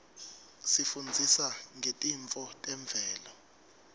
isifundzisa ngetintfo temvelo